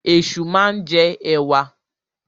Ẹ̀ṣu máa ń jẹ ẹ̀wà.